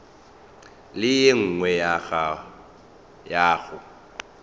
le ye nngwe ya go